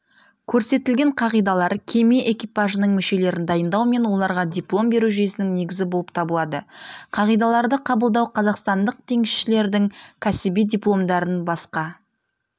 көрсетілген қағидалар кеме экипажының мүшелерін дайындау мен оларға диплом беру жүйесінің негізі болып табылады қағидаларды қабылдау қазақстандық теңізшілердің кәсіби дипломдарын басқа